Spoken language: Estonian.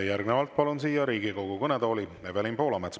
Järgnevalt palun siia Riigikogu kõnetooli Evelin Poolametsa.